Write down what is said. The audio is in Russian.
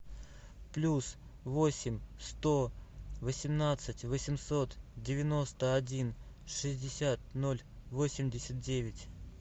плюс восемь сто восемнадцать восемьсот девяносто один шестьдесят ноль восемьдесят девять